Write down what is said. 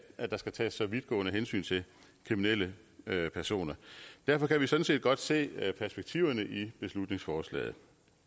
at der skal tages så vidtgående hensyn til kriminelle personer derfor kan vi sådan set godt se perspektiverne i beslutningsforslaget